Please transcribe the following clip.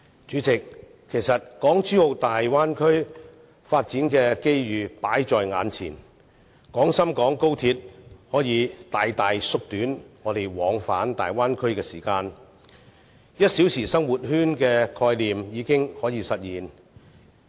主席，其實港珠澳大灣區發展的機遇擺在眼前，而高鐵可以大大縮短我們往返大灣區的時間 ，"1 小時生活圈"的概念已可實現。